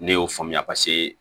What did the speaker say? Ne y'o faamuya paseke